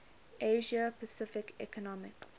asia pacific economic